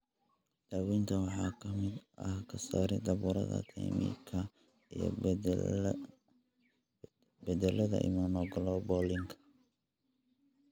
Daaweynta waxaa ka mid ah ka saarida burada thymicka iyo beddelka immunoglobulinka.